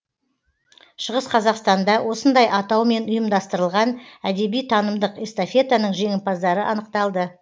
шығыс қазақстанда осындай атаумен ұйымдастырылған әдеби танымдық эстафетаның жеңімпаздары анықталды